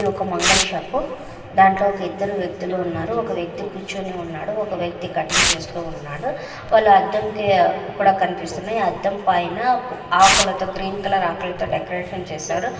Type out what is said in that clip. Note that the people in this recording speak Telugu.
ఇది ఒక మంగళ షాపు దాంట్లో ఇద్దరు వ్యక్తులు ఉన్నారు ఒక వ్యక్తి కూర్చొని ఉన్నాడు ఒక వ్యక్తి కటింగ్ చేస్తూ ఉన్నాడు వాళ్ళ అద్దంకి కూడా కనిపిస్తుందిఅద్దం పైన ఆకులతో గ్రీన్ కలర్ ఆకులతో డెకరేషన్ చేసారు.